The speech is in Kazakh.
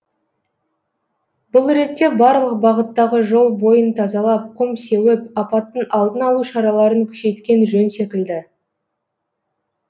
бұл ретте барлық бағыттағы жол бойын тазалап құм сеуіп апаттың алдын алу шараларын күшейткен жөн секілді